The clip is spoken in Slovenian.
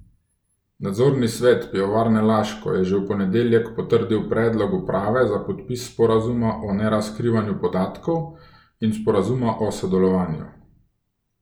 Nadzorni svet Pivovarne Laško je že v ponedeljek potrdil predlog uprave za podpis sporazuma o nerazkrivanju podatkov in sporazuma o sodelovanju.